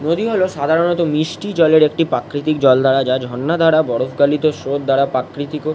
নদী হলো সাধারনতঃ মিষ্টি জলের একটি প্রাকৃতিক জল দ্বারা যা ঝর্ণা দ্বারা বরফ গালিত স্নো - র দ্বারা প্রাকৃতিক |